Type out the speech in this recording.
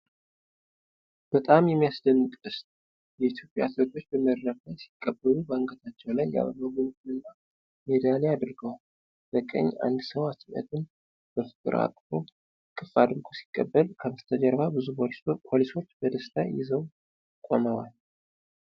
በጣም የሚያስደንቅ ደስታ! የኢትዮጵያ አትሌቶች በመድረክ ላይ ሲቀበሉ፣ በአንገታቸው ላይ የአበባ ጉንጉንና ሜዳሊያ አድርገዋል። በቀኝ አንድ ሰው አትሌቱን በፍቅር እቅፍ አድርጎ ሲቀበል፣ ከበስተጀርባ ብዙ ፖሊሶች በደስታ ይዘው ቆመዋል።